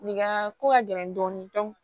Nin ka ko ka gɛlɛn dɔɔnin